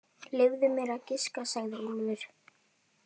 Leyfðu mér að giska, sagði Úlfur.